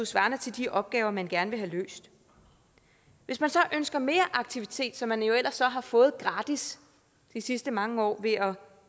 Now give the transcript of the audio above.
svarer til de opgaver man gerne vil have løst hvis man så ønsker mere aktivitet som man jo ellers har fået gratis de sidste mange år ved at